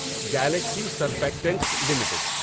Galaxy Surfactants limited